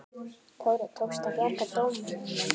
Þórir: Tókst að bjarga dómunum?